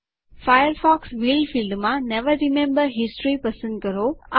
Firefox will ફિલ્ડમાં never remember history પસંદ કરો